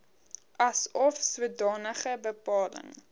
asof sodanige bepaling